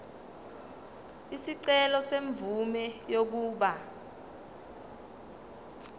isicelo semvume yokuba